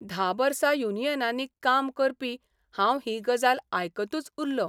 धा वर्सा युनियनांनी काम करपी हांव ही गजाल आयकतूच उरलों.